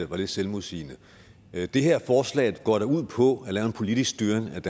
var lidt selvmodsigende det her forslag går da ud på at lave en politisk styring af